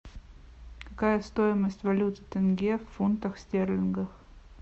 какая стоимость валюты тенге в фунтах стерлингов